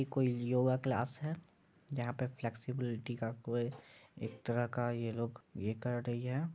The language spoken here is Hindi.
ये कोई योगा क्लास है जहां पे फ्लेक्सिबिलिटी का कोई एक तरह का ये लोग ये कर रही है।